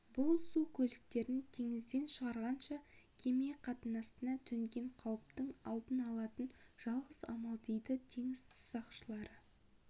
бұл су көліктерін теңізден шығарғанша кеме қатынасына төнген қауіптің алдын алатын жалғыз амал дейді теңіз сақшылары